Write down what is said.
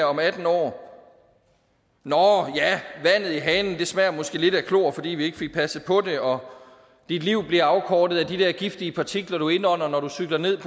om atten år nåh ja vandet i hanen smager måske lidt af klor fordi vi ikke fik passet på det og dit liv bliver afkortet af de der giftige partikler du indånder når du cykler ned